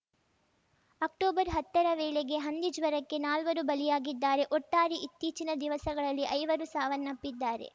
October ಹತ್ತರ ವೇಳೆಗೆ ಹಂದಿ ಜ್ವರಕ್ಕೆ ನಾಲ್ವರು ಬಲಿಯಾಗಿದ್ದಾರೆ ಒಟ್ಟಾರೆ ಇತ್ತೀಚಿನ ದಿವಸಗಳಲ್ಲಿ ಐವರು ಸಾವನ್ನಪ್ಪಿದ್ದಾರೆ